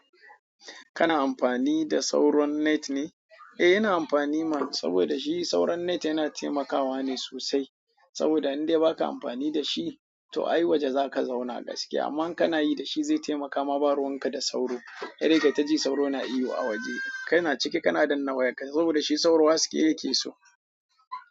Kana amfani da sauron net ne? Eh ina amfani ma saboda shi sauron net yana taimakawa ne sosai. Saboda in dai ba ka amfani da shi, to ai waje za ka zauna gaskiya amma kana yi da shi zai taimaka ma baruwan ka da sauro. Sai dai kayi taji sauro na ihu a waje. Kai na ciki kana danna wayarka saboda shi sauro haske yake so.